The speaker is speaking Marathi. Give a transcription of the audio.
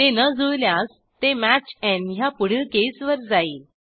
ते न जुळल्यास ते match n ह्या पुढील केसवर जाईल